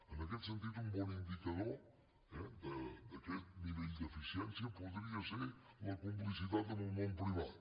en aquest sentit un bon indicador d’aquest nivell d’eficiència podria ser la complicitat amb el món privat